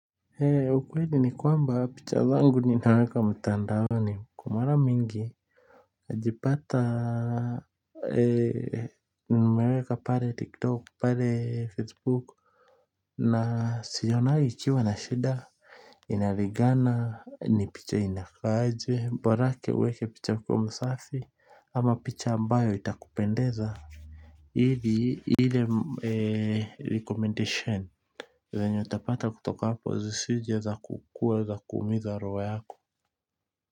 He ukweli ni kwamba picha zangu ninaweka mtandaoni kwa mara mingi najipata nimeweka pale tiktok pale facebook na sionangi ikiwa na shida. Inaligana ni picha inakaa aje borake uweke picha uko msafi ama picha ambayo itakupendeza ili ile recommendation zenye utapata kutoka hapo zisije ya za kuweza kuumiza roho yako.